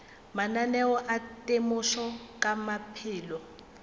mananeo a temošo ka maphelo